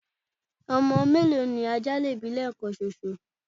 ọmọ mélòó ni ajá lè bí lẹẹkan ṣoṣo?